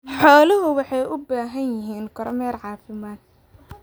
Xooluhu waxay u baahan yihiin kormeer caafimaad.